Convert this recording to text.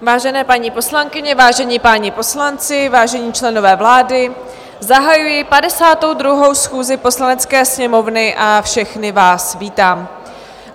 Vážené paní poslankyně, vážení páni poslanci, vážení členové vlády, zahajuji 52. schůzi Poslanecké sněmovny a všechny vás vítám.